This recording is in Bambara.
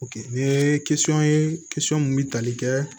n ye ye mun bɛ tali kɛ